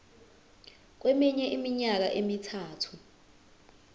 kweminye iminyaka emithathu